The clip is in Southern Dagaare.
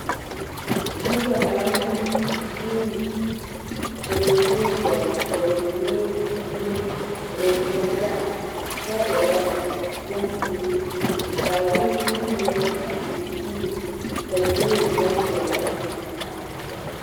Noba naŋ vuuni, ka ba mine dɔg ka ba mine gbi dumo, ka ba mine gaŋ, kyɛ erɛ bompuuri, kaa bompuuri mine a e buluu ka mine e bondɔre ra.